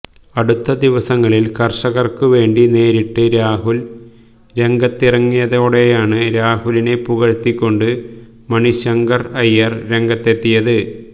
അടുത്തദിവസങ്ങളിൽ കർഷകർക്ക് വേണ്ടി നേരിട്ട് രാഹുൽ രാഗത്തിറങ്ങിയതോടെയാണ് രാഹുലിനെ പുകഴ്ത്തിക്കൊണ്ട് മണിശങ്കർ അയ്യർ രംഗത്തെത്തിയത്